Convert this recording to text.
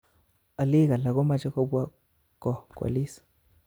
Olik alak komoche kobwa koo kwoliis